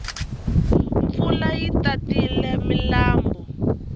mpfula yi tatile milambu